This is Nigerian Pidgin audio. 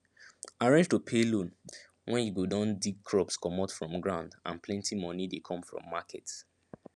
arrange to pay loan when you go don dig crops comot from ground and plenty moni dey come from market